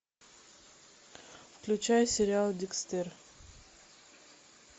включай сериал декстер